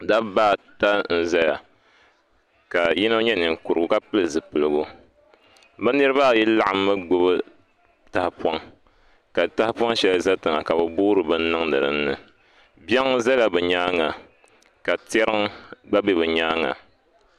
Dabba ata n ʒɛya ka yino nyɛ ninkurugu ka pili zipiligu bi niraba ayi laɣammi gbubi tahapoŋ ka tahapoŋ shɛli ʒɛ tiŋa ka bi boori bini niŋdi dinni biɛŋ ʒɛla bi nyaanga ka tiɛriŋ ka bɛ bi nyaanga